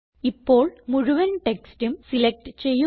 ഇപ്പോൾ മുഴുവൻ ടെക്സ്റ്റും സിലക്റ്റ് ചെയ്യുക